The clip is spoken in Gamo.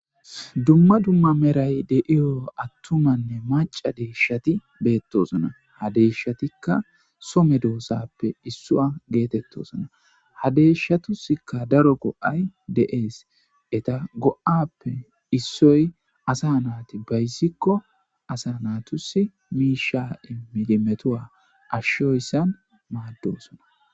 Dumma dumma meray deiyo attumanne maca deeshati beettosona ha deshatikka some doosappe issua geetettosona ha deeshshatusikka daro go7ay de7ees eta go7appe issoy asa naati bayzikko asa naatusi miisha7imilimetowa ashshoyssan maaddosona.